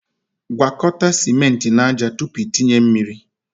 gwakọta ciment na ájá tupu i tinye mmiri